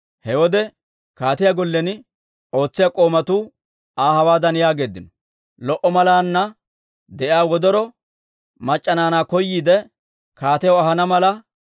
He wode kaatiyaa gollen ootsiyaa k'oomatuu Aa hawaadan yaageeddino; «Lo"o malaana de'iyaa wodoro mac'c'a naanaa koyiide, kaatiyaw ahana mala,